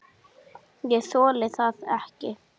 Ég þoli það ekki,